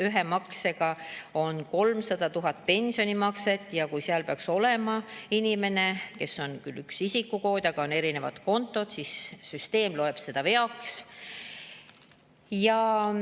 Ühe maksega tehakse 300 000 pensionimakset ja kui seal peaks olema makse inimesele, kelle kohta on toodud küll isikukood, aga on erinev konto, siis süsteem loeb seda veaks.